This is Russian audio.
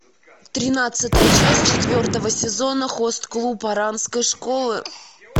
тринадцатая часть четвертого сезона хост клуб оранской школы